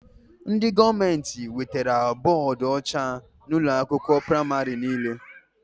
Ndị gọọmenti wetara bọdụ ọcha na ụlọ akwụkwọ pramarị niile